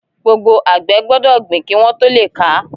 Gbogbo àgbẹ̀ gbọ́dọ̀ gbìn kí wọ́n tó le ká.